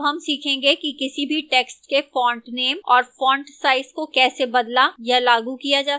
अब हम सीखेंगे कि किसी भी text के font name और font size को कैसे बदला या लागू किया जा सकता है